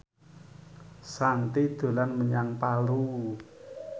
Shanti dolan menyang Palu